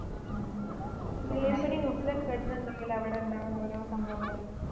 ആഹ് ഈ news ലൊക്കെ കേട്ടിട്ടുണ്ടാവുലെ അവിടെ ഉണ്ടാവുന്ന ഓരോ സംഭവങ്ങള്